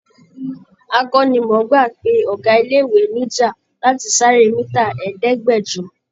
Akọ́nimọ̀ọ́gbá pe ọ̀gá ilé-ìwé níjà láti sáré mítà ẹdẹ̀ẹ́gbẹ̀jọ.